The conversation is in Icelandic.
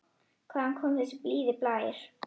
Hvaðan kom þessi blíði blær?